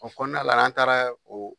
O kɔnɔna la an taara o